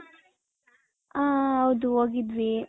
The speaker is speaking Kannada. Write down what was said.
ಹ ಹೌದು ಹೋಗಿದ್ವಿ .